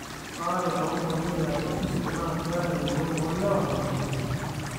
Ore baare oongonyo yaatua osesen naa keer engolon oolewa nabulunye.